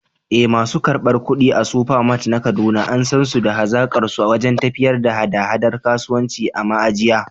Eh, masu karɓar kuɗi a Supermart na Kaduna an san su da hazaƙarsu wajen tafiyar da haɗa-haɗar kasuwanci a ma’ajiya.